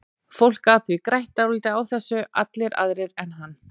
Fólk gat því grætt dálítið á þessu, allir aðrir en hann.